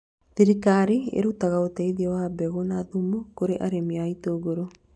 Thirikari ĩrũtaga ũteithio wa mbegũ na thumu kũrĩ arĩmi a itũngũrũ